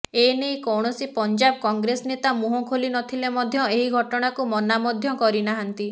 ଏନେଇ କୌଣସି ପଞ୍ଜାବ କଂଗ୍ରେସ ନେତା ମୁହଁ ଖୋଲି ନଥିଲେ ମଧ୍ୟ ଏହି ଘଟଣାକୁ ମନା ମଧ୍ୟ କରିନାହାନ୍ତି